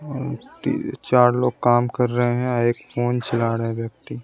और ती चार लोग काम कर रहे हैं एक फोन चला रहा है व्यक्ति।